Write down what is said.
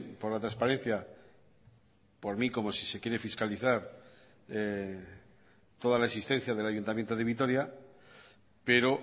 por la transparencia por mí como si se quiere fiscalizar toda la existencia del ayuntamiento de vitoria pero